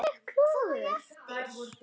Hvað á ég eftir?